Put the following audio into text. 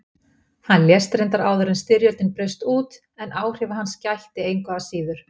Hann lést reyndar áður en styrjöldin braust út en áhrifa hans gætti engu að síður.